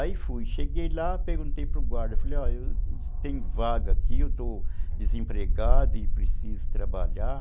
Aí fui, cheguei lá, perguntei para o guarda, falei, ó, tem vaga aqui, eu estou desempregado e preciso trabalhar.